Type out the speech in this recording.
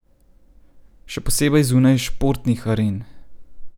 Še posebej zunaj športnih aren.